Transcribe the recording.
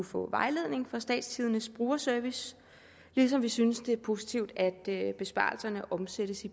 få vejledning fra statstidendes brugerservice ligesom vi synes at det er positivt at besparelserne omsættes i